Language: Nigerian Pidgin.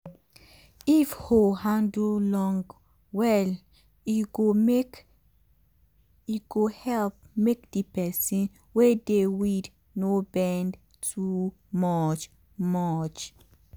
if hoe handle long well e go make e go help make the person wey dey weed no bend too much. much.